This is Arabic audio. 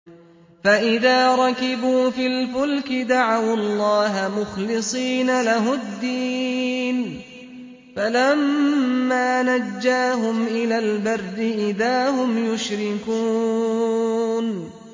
فَإِذَا رَكِبُوا فِي الْفُلْكِ دَعَوُا اللَّهَ مُخْلِصِينَ لَهُ الدِّينَ فَلَمَّا نَجَّاهُمْ إِلَى الْبَرِّ إِذَا هُمْ يُشْرِكُونَ